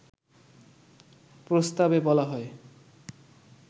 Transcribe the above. প্রস্তাবে বলা হয়